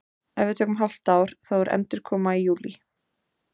Ef við tökum hálft ár þá er endurkoma í júlí.